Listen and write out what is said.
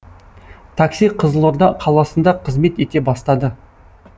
такси қызылорда қаласында қызмет ете бастады